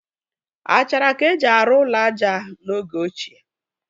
Achara ka e ji arụ ụlọ aja n'oge ochie.